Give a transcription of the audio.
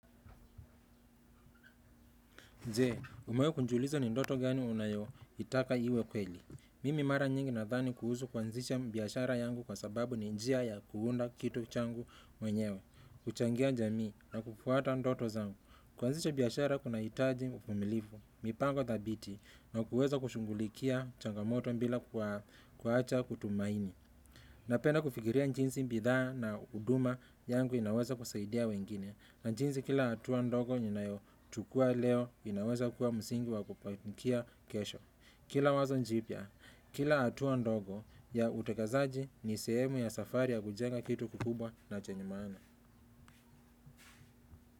Je, umewahi kujiuliza ni ndoto gani unayoitaka iwe kweli. Mimi mara nyingi nadhani kuhusu kuanzisha biashara yangu kwa sababu ni njia ya kuunda kitu changu mwenyewe, kuchangia jamii na kufuata ndoto zangu. Kuanzisha biashara kunahitaji uvumilifu, mipango thabiti, na kuweza kushughulikia changamoto bila kuacha kutumaini. Napenda kufikiria jinsi bidhaa na huduma yangu inaweza kusaidia wengine. Na jinsi kila hatua ndogo ninayochukua leo inaweza kuwa msingi wa kupakia kesho kila wazo jipya, kila hatua ndogo ya utekelezaji ni sehemu ya safari ya kujenga kitu kikubwa na chanye maana.